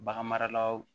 Bagan maralaw